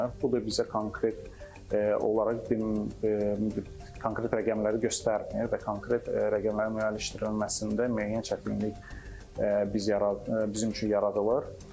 Bu da bizə konkret olaraq bir konkret rəqəmləri göstərmir və konkret rəqəmlərin əldə edilməsində müəyyən çətinlik biz bizim üçün yaradılır.